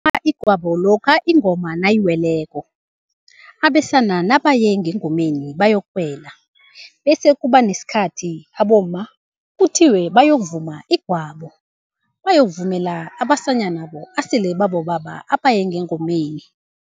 igwabo lokha ingoma nayiweleko. Abesana nabaye ngengomeni bayokuwela. Bese kuba nesikhathi abomma kuthiwe bayokuvuma igwabo, bayokuvumela abasanyanabo asele babobaba abaye ngengomeni.